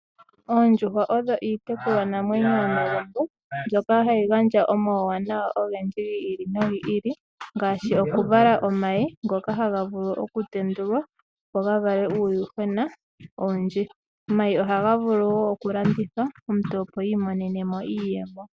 Oondjuhwa odho iitekulwanamwenyo yomegumbo mbyoka hayi gandja omawuwanawa ogendji gi ili nogi ili ngaashi okuvala omayi ngoka haga vulu okutendulwa, opo ga gandje uuyuhwena owundji. Omayi ohaga vulu wo okulandithwa, omuntu opo i imonene mo iiyemo.